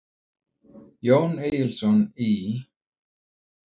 Jón Egilsson í